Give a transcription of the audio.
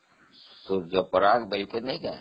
ସୂର୍ଯାପରାଗ